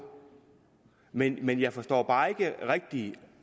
men men jeg forstår bare ikke rigtig